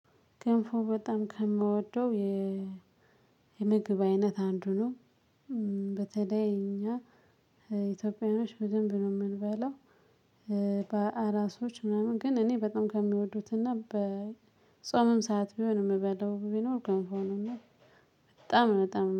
ክንፉ በጣም ከምወደው የ የምግብ አይነት አንዱ ነው። በተለይ እኛ ኢትዮጵያውያኖች በደንብ ነው የምንበላው። በአራሶች ምናምን ግን እኔ በጣም ከሚወዱትና በጾምም ሰዓት ቢሆን የምበለው ቢኖር ገንፎ ነው። በጣም በጣም